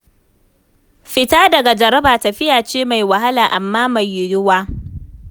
Fita daga jaraba tafiya ce mai wahala amma mai yiwuwa.